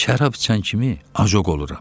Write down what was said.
Şərab içən kimi acoq oluram.